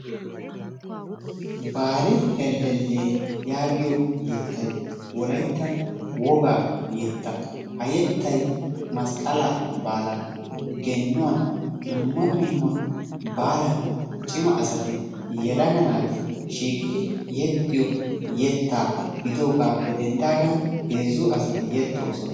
Baali helele yaagiyo yettay wolayttan wogaa yetta. Ha yettay masqqala baalan, geenuwan dumma dumma baalan cima asati yelaga naati shiiqidi yexiyo yetta gidiyogappe denddidagan heezzu asati yeexosona.